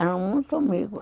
Eram muito amigos.